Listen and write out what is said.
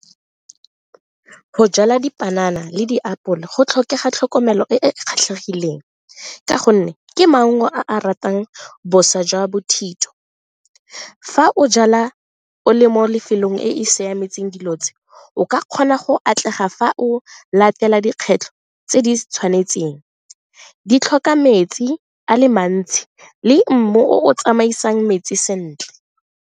Go jala dipanana le diapole go tlhokega tlhokomelo e e kgethegileng ka gonne ke maungo a a ratang boswa jwa bothitho. Fa o jala o le mo lefelong e e siametseng dilo tse o ka kgona go atlega fa o latela dikgwetlho tse di tshwanetseng, di tlhoka metsi a le mantsi le mmu o tsamaisang metsi sentle.